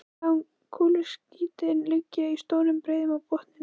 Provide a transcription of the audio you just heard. Við sjáum kúluskítinn liggja í stórum breiðum á botninum.